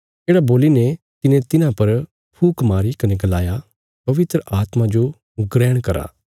येढ़ा बोलीने तिने तिन्हां पर फूक मारी कने गलाया पवित्र आत्मा जो ग्रहण करा